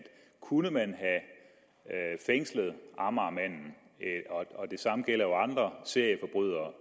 kunne man have fængslet amagermanden og andre serieforbrydere